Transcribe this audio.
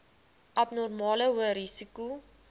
abnormale hoë risiko